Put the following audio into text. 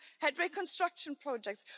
We have had reconstruction projects.